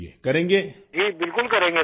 راجیش پرجاپتی جی بالکل کریں گے سر